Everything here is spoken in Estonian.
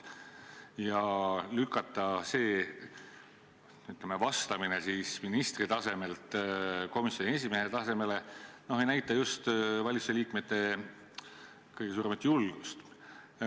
Kui lükata, ütleme, vastamine ministri tasemelt komisjoni esimehe tasemele, siis see ei näita valitsuse liikmete just kõige suuremat julgust.